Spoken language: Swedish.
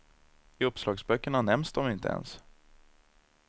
I uppslagsböckerna nämns de inte ens.